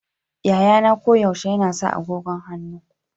Yayana koyaushe yana sa agogon hannu.